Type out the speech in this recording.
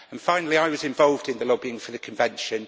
Finally, I was involved in the lobbying for the Convention.